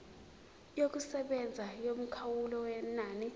yokusebenza yomkhawulo wenani